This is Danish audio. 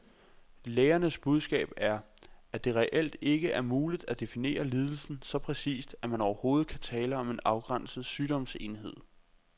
Lægernes budskab er, at det reelt ikke er muligt at definere lidelsen så præcist, at man overhovedet kan tale om en afgrænset sygdomsenhed.